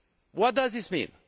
What does this mean?